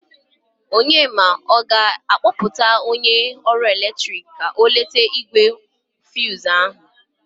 Onyema, ọ ga-akpọta onye ọrụ eletrik ka o lete igbe fuz ahụ?